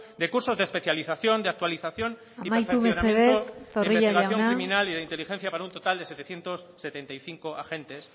de cursos de especialización de actualización y amaitu mesedez zorrilla jauna y perfeccionamiento de investigación criminal y de inteligencia para un total de setecientos setenta y cinco agentes